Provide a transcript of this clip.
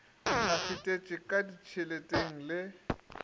a fetetše ka ditšheleteng le